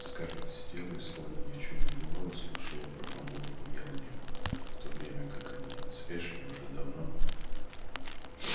скарлетт сидела и словно ни в чем не бывало слушала про помолвку мелани в то время как они с эшли уже давно